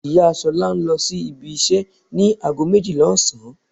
Ìyá Ṣolá lọ sí ibi iṣẹ́ ní ago méjìlá ọ̀sán.